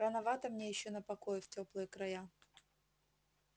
рановато мне ещё на покой в тёплые края